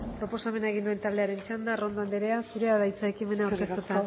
proposamen egin duen taldearen txanda arrondo anderea zurea da hitza ekimena aurkeztu